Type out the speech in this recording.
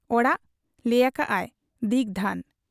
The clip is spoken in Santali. ᱚᱲᱟᱜ ? ᱞᱟᱹᱭ ᱟᱠᱟᱜ ᱟᱭ, 'ᱫᱤᱜᱽᱫᱷᱟᱹᱱ ᱾'